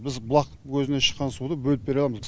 біз бұлақ көзінен шыққан суды бөліп бере аламыз